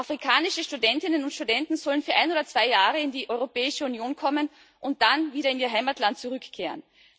Afrikanische Studentinnen und Studenten sollen für ein oder zwei Jahre in die Europäische Union kommen und dann wieder in ihr Heimatland zurückkehren.